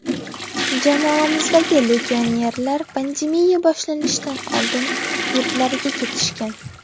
Jamoamizdagi legionerlar pandemiya boshlanishidan oldin yurtlariga ketishgan.